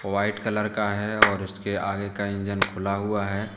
White colour का है और इसके आगे का इंजन खुला हुआ है।